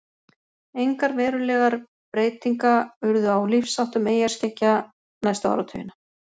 Engar verulegar breytinga urðu á lífsháttum eyjarskeggja næstu áratugina.